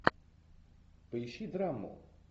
поищи драму